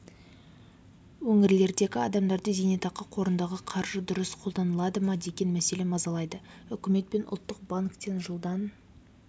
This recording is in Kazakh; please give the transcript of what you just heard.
өңірлердегі адамдарды зейнетақы қорындағы қаржы дұрыс қолданады ма деген мәселе мазалайды үкімет пен ұлттық банктен жылдан